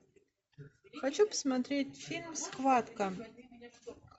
хочу посмотреть фильм схватка